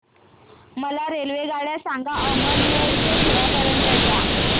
मला रेल्वेगाड्या सांगा अमळनेर ते धुळे पर्यंतच्या